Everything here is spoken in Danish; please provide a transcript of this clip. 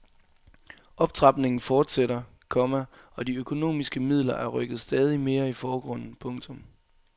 Optrapningen forsætter, komma og de økonomiske midler er rykket stadig mere i forgrunden. punktum